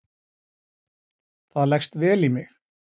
Það leggst vel í mig